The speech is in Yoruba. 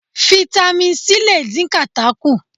Fitami C lè dín kàtá kù.